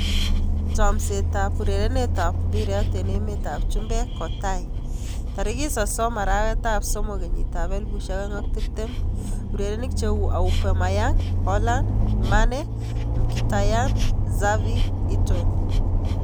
Chomset ab urerenet ab mbiret eng emet ab chumbek kotaai 30.03.2020:Aubameyang, Haaland, Mane, Mkhitaryan, Xavi, Heaton